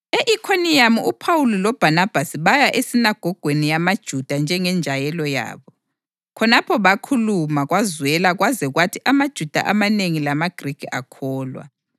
E-Ikhoniyamu uPhawuli loBhanabhasi baya esinagogweni yamaJuda njengenjayelo yabo. Khonapho bakhuluma kwazwela kwaze kwathi amaJuda amanengi lamaGrikhi akholwa.